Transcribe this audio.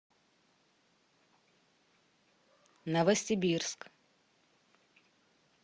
новосибирск